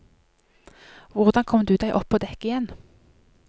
Hvordan kom du deg opp på dekk igjen?